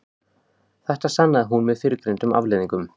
Þetta sannaði hún með fyrrgreindum afleiðingum.